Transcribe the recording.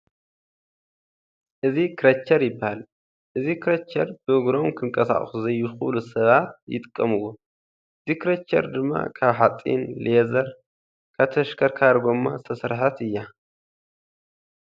እዚ ክረቸር ይባሃል። እዚ ክረቸር ብእግሮም ክንቀሳቀሱ ዘይክእል ሰባት ይጥቀምዎ። እዛ ክረቸር ድማ ካብ ሓፂን፣ ሌዘር፣ ካብ ተሽከርካሪ ጎማ ዝተሰርሓት እያ።